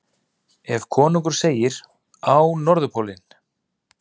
Ef konungur segir: Á Norðurpólinn!